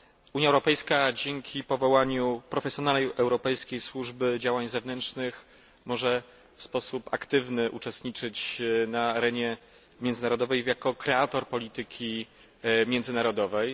Unia Europejska, dzięki powołaniu profesjonalnej Europejskiej Służby Działań Zewnętrznych, może w sposób aktywny istnieć na arenie międzynarodowej jako kreator polityki międzynarodowej.